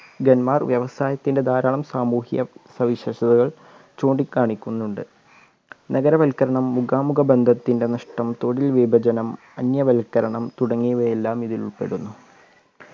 കന്മാർ വ്യവസായത്തിൻ്റെ ധാരാളം സാമൂഹ്യ സവിശേഷതകൾ ചൂണ്ടിക്കാണിക്കുന്നുണ്ട് നഗരവൽക്കരണം മുഖാമുഖ ബന്ധത്തിൻ്റെ നഷ്‌ടം തൊഴിൽ വിഭജനം അന്യവൽക്കരണം തുടങ്ങിയവയെല്ലാം ഇതിൽ ഉൾപ്പെടുന്നു